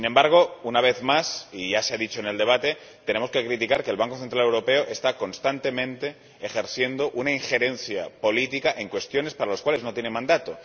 Sin embargo, una vez más, y ya se ha dicho en el debate, tenemos que criticar que el Banco Central Europeo está constantemente ejerciendo una injerencia política en cuestiones para las cuales no tiene mandato.